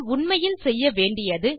உண்மையில் செய்ய வேண்டியது